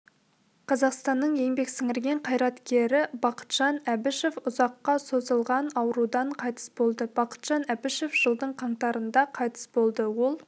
қазақстанның еңбек сіңірген қайраткерібақытжан әбішев ұзаққа созылғанаурудан қайтыс болды бақытжан әбішев жылдың қаңтарында қайтыс болды ол